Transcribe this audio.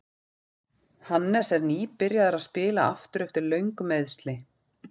Hannes er nýbyrjaður að spila aftur eftir löng meiðsli.